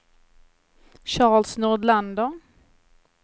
Charles Nordlander